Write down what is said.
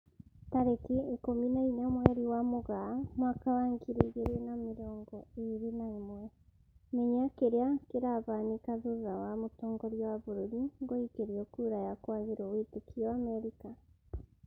Tarĩki ikũmi na inya mweri wa Mũgaa mwaka wa ngiri igĩri na mĩrongo ĩri na ĩmwe, Menya kĩrĩa kĩrahanĩka thutha wa mũtongoria wa bũrũri guikĩrio kura ya kwagĩrwo wĩtĩkio Amerika